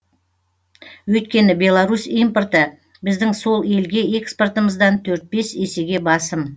өйткені беларусь импорты біздің сол елге экспортымыздан төрт бес есеге басым